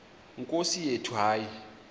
nkosi yethu hayi